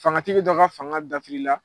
Fangatigi dɔ ka fanga dafirila.